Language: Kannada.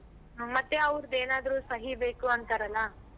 ಹ್ಮ್ ಮತ್ತೆ ಅವ್ರ್ದೇನಾದ್ರು ಸಹಿ ಬೇಕು ಅಂತಾರಲ್ಲ.